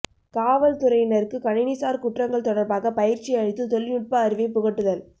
காவல் துறையினருக்கு கணினிசார் குற்றங்கள் தொடர்பாகப் பயிற்சி அளித்து தொழில்நுட்ப அறிவைப் புகட்டுதல்